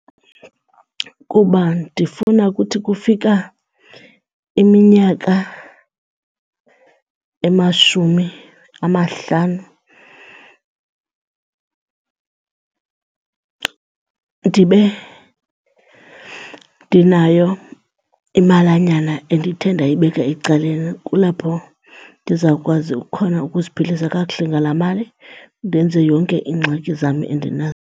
Kuba ndifuna kuthi kufika iminyaka emashumi amahlanu ndibe ndinayo imalanyana endithe ndayibeka ecaleni. Kulapho ndizawukwazi khona ukuziphilisa kakuhle ngalaa mali ndenze yonke iingxaki zam endinazo.